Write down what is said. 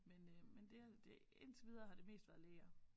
Men øh men det har indtil videre har det mest været læger